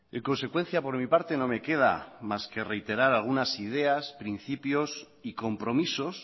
en consecuencia por mi parte no me queda más que reiterar algunas ideas principios y compromisos